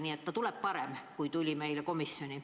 Nii et ta tuleb parem kui see, mis tuli meile komisjoni.